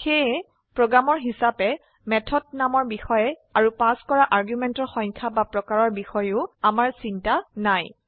সেয়ে প্ৰোগ্ৰামাৰ হিসাবে মেথড নামৰ বিষয়ে আৰু পাস কৰা আৰ্গুমেন্টৰ সংখ্যা বা প্ৰকাৰৰ বিষয়েও আমাৰ চিন্তা নাই